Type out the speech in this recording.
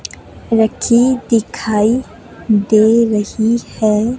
रखी दिखाई दे रही है।